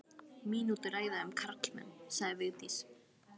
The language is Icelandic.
Mínútu ræða um karlmenn, sagði Vigdís.